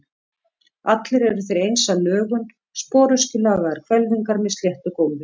Allir eru þeir eins að lögun, sporöskjulagaðar hvelfingar með sléttu gólfi.